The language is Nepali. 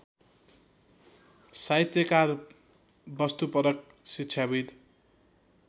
साहित्यकार वस्तुपरक शिक्षाविद्